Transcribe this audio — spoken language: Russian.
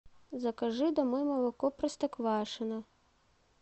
закажи домой молоко простоквашино